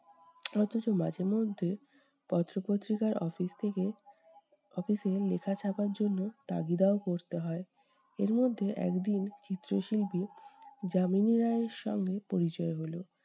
অথচ মাঝে মধ্যে পত্র-পত্রিকার office থেকে office এ লেখা ছাপার জন্য তাগিদাও করতে হয়। এরমধ্যে একদিন চিত্রশিল্পী যামিনী রায়ের সঙ্গে পরিচয় হলো।